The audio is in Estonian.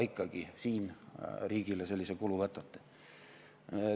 Aga riigile sellise kulu võtate.